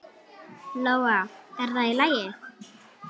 Lóa: Er það í lagi?